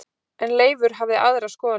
En Leifur hafði aðra skoðun á því.